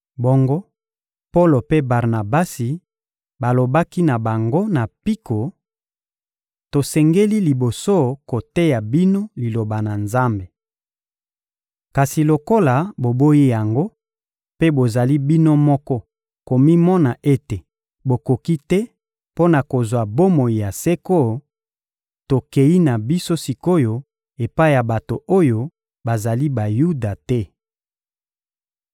Bongo, Polo mpe Barnabasi balobaki na bango na mpiko: — Tosengeli liboso koteya bino Liloba na Nzambe. Kasi lokola boboyi yango mpe bozali bino moko komimona ete bokoki te mpo na kozwa bomoi ya seko, tokeyi na biso sik’oyo epai ya bato oyo bazali Bayuda te.